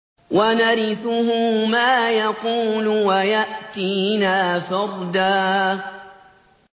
وَنَرِثُهُ مَا يَقُولُ وَيَأْتِينَا فَرْدًا